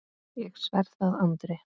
Ég sver það Andri.